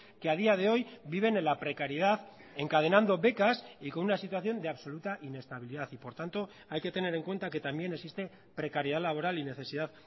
que a día de hoy viven en la precariedad encadenando becas y con una situación de absoluta inestabilidad y por tanto hay que tener en cuenta que también existe precariedad laboral y necesidad